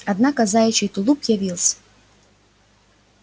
однако заячий тулуп явился